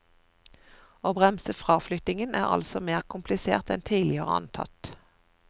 Å bremse fraflyttingen er altså mer komplisert enn tidligere antatt.